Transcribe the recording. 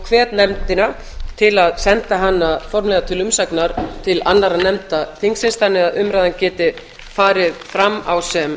hvet nefndina til að senda hana formlega til umsagnar til annarra nefnda þingsins þannig að umræðan geti farið fram á sem